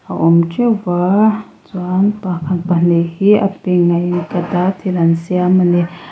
a awm teuhva chuan pakhat pahnih hi a pink a in cut a thil an siam a ni.